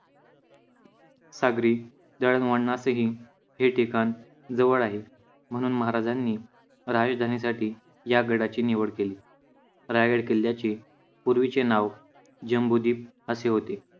सागरी दळणवळणाचे ही हे ठिकाण जवळ आहे. म्हणून महाराजांनी राजधानी साठी या गडाची निवड केली. रायगड किल्ल्याचे पूर्वीचे नाव जम्बूद्वीप असे होते.